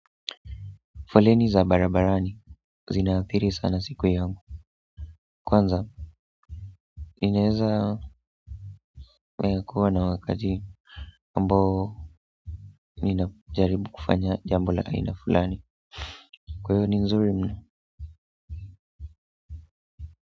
Foleni za barabarani zinaathiri sana siku yangu kwanza ninaweza kuwa na wakati ambao ninajaribu kufanya jambo la aina fulani kwa hivo ni nzuri.